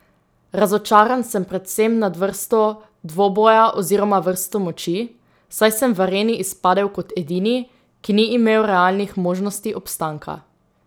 Razočaran sem predvsem nad vrsto dvoboja oziroma vrsto moči, saj sem v areni izpadel kot edini, ki ni imel realnih možnosti obstanka.